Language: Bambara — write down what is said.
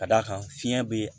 Ka d'a kan fiɲɛ be